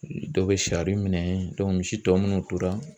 Dɔw bɛ sari minɛ misi tɔ munnu tora